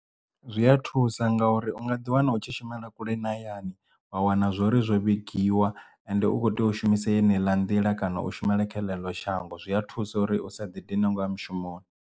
Zwi a thusa nga uri u nga ḓi wana u tshi shumela kule na hayani wa wana zwori zwo vhigiwa and u kho tea u shumisa yeneiḽa nḓila kana u shumela kha ḽeḽo shango zwi a thusa uri usa ḓidine ngo ya mushumoni.